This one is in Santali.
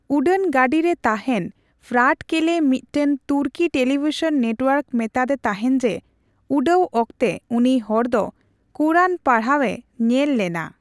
ᱩᱰᱟᱹᱱ ᱜᱟᱰᱤᱨᱮ ᱛᱟᱦᱮᱱ ᱯᱷᱨᱟᱴ ᱠᱮᱞᱮ ᱢᱤᱫᱴᱮᱱ ᱛᱩᱨᱠᱤ ᱴᱮᱞᱤᱵᱷᱤᱥᱚᱱ ᱱᱮᱴᱼᱳᱣᱟᱨᱠᱮ ᱢᱮᱛᱟᱫᱮ ᱛᱟᱦᱮᱱ ᱡᱮ, ᱩᱰᱟᱹᱣ ᱚᱠᱛᱮ ᱩᱱᱤ ᱦᱚᱲ ᱫᱚ ᱠᱳᱨᱟᱱ ᱯᱟᱲᱦᱟᱣᱮ ᱧᱮᱞ ᱞᱮᱱᱟ ᱾